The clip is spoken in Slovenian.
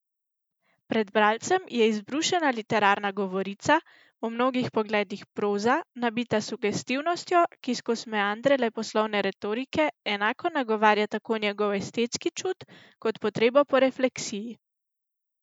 Pred bralcem je izbrušena literarna govorica, v mnogih pogledih proza, nabita s sugestivnostjo, ki skoz meandre leposlovne retorike enako nagovarja tako njegov estetski čut kot potrebo po refleksiji.